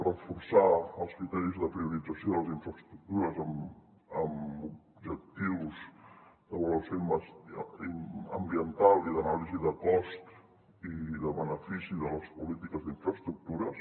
reforçar els criteris de priorització de les infraestructures amb objectius d’avaluació ambiental i d’anàlisi de cost i de benefici de les polítiques d’infraestructures